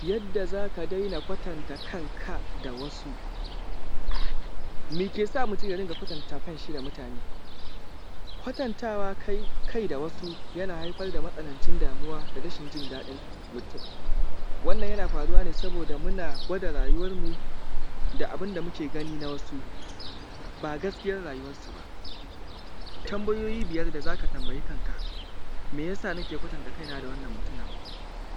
Yadda zaka daina kwatanta kanka da wasu. Me ke sa mutum ya dinga gwatanta kanshi da mutane? Kwatantawa kai da wasu yana haifar da matsanancin damuwa da rashin jin daɗin mutum wannna yana faruwa ne saboda muna gwada rayuwarmu da abun da muke gani na wasu ba gaskiyar rayuwarsu ba. Tambayoyi biyar da za ka tambayi kanka, me ya sa nake kwatanta kaina da wannan mutumin?